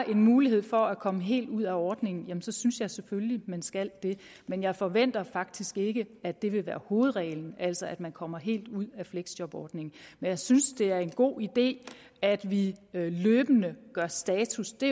en mulighed for at komme helt ud af ordningen jamen så synes jeg selvfølgelig man skal det men jeg forventer faktisk ikke at det vil være hovedreglen altså at man kommer helt ud af fleksjobordningen men jeg synes det er en god idé at vi løbende gør status det